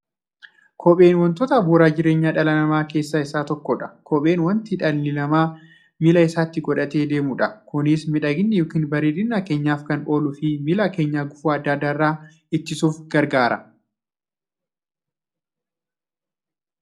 Kopheen wantoota bu'uura jireenya dhala namaa keessaa isa tokkodha. Kopheen wanta dhalli namaa miilla isaatti godhatee deemudha. Kunis miidhagani yookiin bareedina keenyaaf kan ooluufi miilla keenya gufuu adda addaa irraa ittisuuf gargaara.